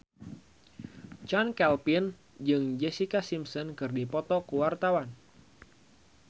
Chand Kelvin jeung Jessica Simpson keur dipoto ku wartawan